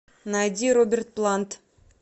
найди роберт плант